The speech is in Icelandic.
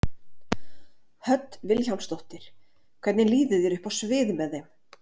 Hödd Vilhjálmsdóttir: Hvernig líður þér uppi á sviði með þeim?